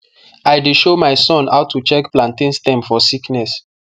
i dey show my son how to check plantain stem for sickness